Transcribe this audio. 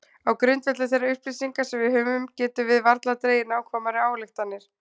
Á grundvelli þeirra upplýsinga sem við höfum getum við varla dregið nákvæmari ályktanir.